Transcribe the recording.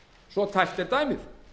svo tæpt er dæmið